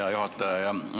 Hea juhataja!